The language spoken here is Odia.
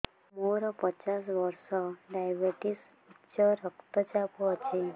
ମୋର ପଚାଶ ବର୍ଷ ଡାଏବେଟିସ ଉଚ୍ଚ ରକ୍ତ ଚାପ ଅଛି